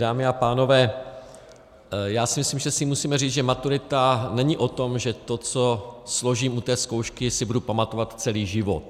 Dámy a pánové, já si myslím, že si musíme říct, že maturita není o tom, že to, co složím u té zkoušky, si budu pamatovat celý život.